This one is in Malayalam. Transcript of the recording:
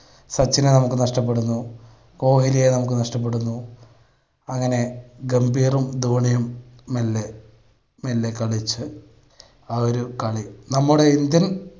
സച്ചിനെ നമുക്ക് നഷ്ടപ്പെടുന്നു, കോഹിലിയെ നമുക്ക് നഷ്ടപ്പെടുന്നു അങ്ങനെ ഗംഭീറും ധോണിയും മെല്ലെ മെല്ലെ കളിച്ച് അവര് . നമ്മുടെ ഇന്ത്യൻ